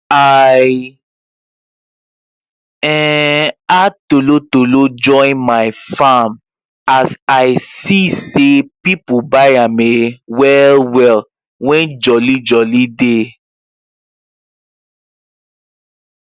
i um add tolotolo join my farm as i se say people buy am um well well when joli joli dey